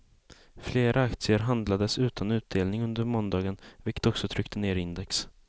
Flera aktier handlades utan utdelning under måndagen, vilket också tryckte ned index.